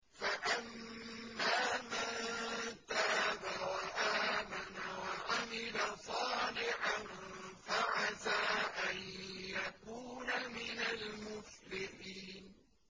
فَأَمَّا مَن تَابَ وَآمَنَ وَعَمِلَ صَالِحًا فَعَسَىٰ أَن يَكُونَ مِنَ الْمُفْلِحِينَ